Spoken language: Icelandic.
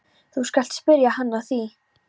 Þú skalt spyrja hann að því.